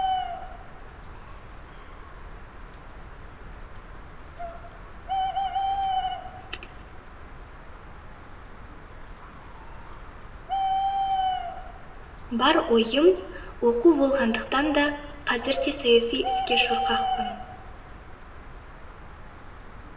бар ойым оқу болғандықтан да қазір де саяси іске шорқақпын